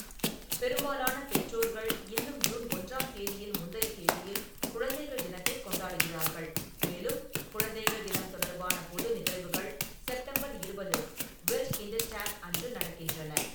பெரும்பாலான பெற்றோர்கள் இன்னும் ஜூன் ஒன்றாம் தேதியின் முந்தைய தேதியில் குழந்தைகள் தினத்தைக் கொண்டாடுகிறார்கள், மேலும் குழந்தைகள் தினம் தொடர்பான பொது நிகழ்வுகள் செப்டம்பர் இருபது (வெல்ட்கிண்டர்டேக்) அன்று நடக்கின்றன.